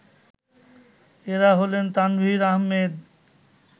এরা হলেন তানভীর আহম্মেদ